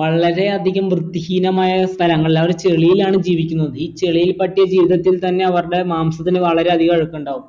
വളരെ അധികം വൃത്തി ഹീനമായ സ്ഥലങ്ങളിലാ അവർ ചെളിയിലാണ് ജീവിക്കുന്നത് ഈ ചെളിയിൽ തട്ടിയ ജീവിതത്തിൽ തന്നെ അവർടെ മാംസത്തിന് വളരെ അധികം അഴുക്കുണ്ടാകും